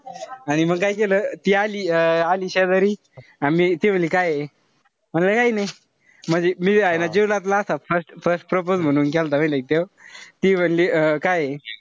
आणि म काय केलं. ती अं ती आली शेजारी अन ती म्हणली काये. म्हणलं काई नाई. म्हणजे मी हाये ना first first propose म्हणून केलता माहितीय का त्यो. ती म्हणली अं काये.